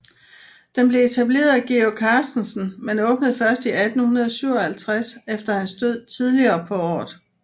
Den blev blev etableret af Georg Carstensen men åbnede først i 1857 efter hans død tidligere på året